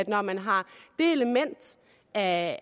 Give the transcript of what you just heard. når man har det element af